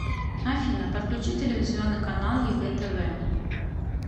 афина подключи телевизионный канал егэ тв